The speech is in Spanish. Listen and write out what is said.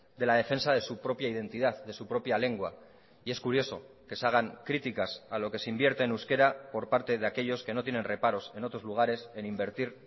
de la defensa de su propia identidad de su propia lengua y es curioso que se hagan críticas a lo que se invierte en euskera por parte de aquellos que no tienen reparos en otros lugares en invertir